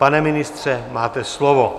Pane ministře, máte slovo.